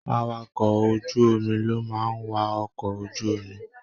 Àwàkọ̀ ojú omi lo máa n wà okọ̀ ojú omi.